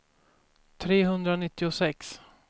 trehundranittiosex